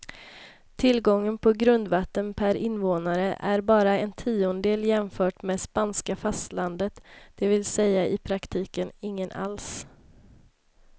Tillgången på grundvatten per invånare är bara en tiondel jämfört med spanska fastlandet, det vill säga i praktiken ingen alls.